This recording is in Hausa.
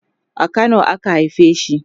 a Kano a ka haife shi